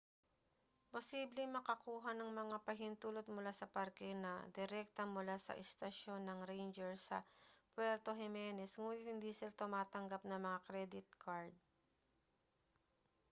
posibleng makakuha ng mga pahintulot mula sa parke na direkta mula sa istasyon ng ranger sa puerto jimenez nguni't hindi sila tumatanggap ng mga kredit kard